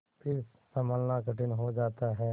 फिर सँभलना कठिन हो जाता है